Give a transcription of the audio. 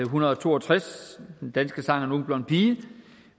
hundrede og to og tres den danske sang er en ung blond pige